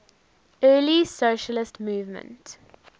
early socialist movement